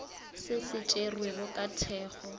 se se tšerwego ka thekgo